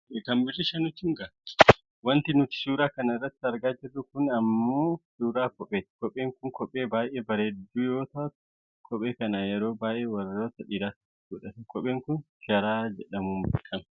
Wanti nuti suura kana irratti argaa jirru kun ammoo suuraa kopheeti. Kopheen kun kophee baayyee bareeddu yoo taatu kophee kana yeroo baayyee warroota dhiiraatu godhata. Kopheen kun sharaa jedhamuun beekkama.